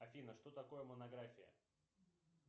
афина что такое монография